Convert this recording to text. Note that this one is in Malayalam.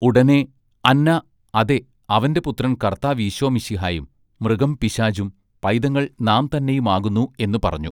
ഉടനേ അന്നാ അതെ അവന്റെ പുത്രൻ കർത്താവീശോമശിഹായും മൃഗം പിശാചും പൈതങ്ങൾ നാം തന്നെയും ആകുന്നു" എന്ന് പറഞ്ഞു.